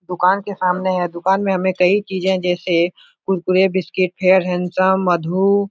दुकान के सामने है। दुकान में हमें कई चीज़े जैसे कुरकुरे बिस्किट फेयर हेंडसम मधु--